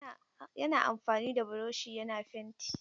Yana amfani da buroshi yana fenti.